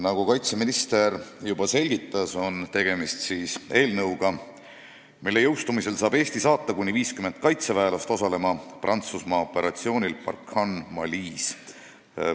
Nagu kaitseminister juba selgitas, tegemist on eelnõuga, mille otsusena jõustumisel saab Eesti saata kuni 50 tegevväelast osalema Prantsusmaa operatsioonil Barkhane Malis.